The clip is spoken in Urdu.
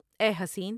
اے حسین!